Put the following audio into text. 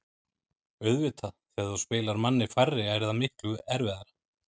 Auðvitað, þegar þú spilar manni færri er það miklu erfiðara.